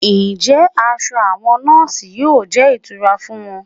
Ǹjẹ́ aṣọ àwọn nọọsi yóò jẹ́ ìtura fún wọn?